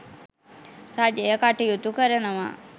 රජය කටයුතු කරනවා.